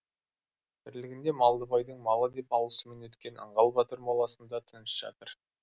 тірлігінде малдыбайдың малы деп алысумен өткен аңғал батыр моласында тыныш жатыр